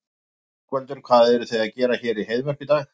Ingveldur: Hvað eruð þið að gera hér í Heiðmörk í dag?